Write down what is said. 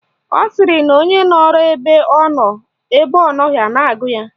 Ọ sịrị na onye nọrọ ebe ọ nọ, ebe ọ nọghị a na-agụ ya